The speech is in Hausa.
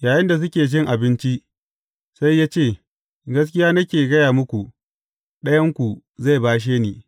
Yayinda suke cin abinci, sai ya ce, Gaskiya nake gaya muku, ɗayanku zai bashe ni.